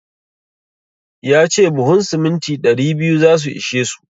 Ya ce buhun siminti ɗari biyu za su ishe su.